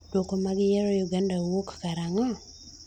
duoko mag yiero Uganda kowuok karang'o?